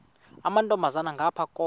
amantombazana ngapha koma